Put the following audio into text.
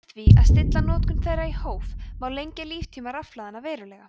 með því að stilla notkun þeirra í hóf má lengja líftíma rafhlaðanna verulega